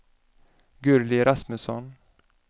Gurli Rasmusson